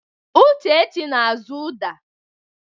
Uchechi na-azụ uda.